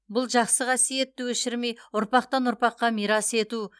бұл жақсы қассиетті өшірмей ұрпақтан ұрпаққа мирас ету